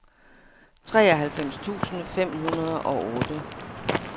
treoghalvfems tusind fem hundrede og otte